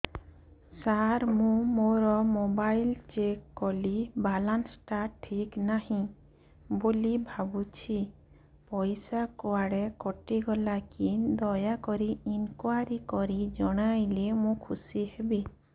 ସାର ମୁଁ ମୋର mobile check କଲି ବାଲାନ୍ସ ଟା ଠିକ ନାହିଁ ବୋଲି ଭାବୁଛି ପଇସା କୁଆଡେ କଟି ଗଲା କି ଦୟାକରି ଇନକ୍ୱାରି କରି ଜଣାଇଲେ ମୁଁ ଖୁସି ହେବି